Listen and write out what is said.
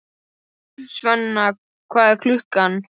Sveina, hvað er klukkan?